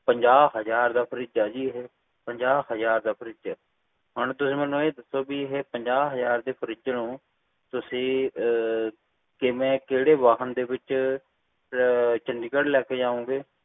ਪੰਜਾਹ ਹਜਾਰ ਦਾ fridge ਹੈ ਜੀ ਹੈ ਉਹ ਪੰਜਾਹ ਹਜਾਰ ਹੈ ਹੁਣ ਮੈਨੂੰ ਇਹ ਦੱਸੋ ਬ ਤੁਸੀਂ ਇਹ ਪੰਜਾਹ ਹਜਾਰ ਦੇ fridge ਨੂੰ ਤੁਸੀਂ ਕਿਵੇਂ ਚੰਡੀਗੜ੍ਹ ਲੈ ਕੇ ਜੋਂਗੇ ਕਹਿੰਦੇ ਵਾਹਨ ਵਿਚ